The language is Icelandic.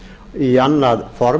í annað form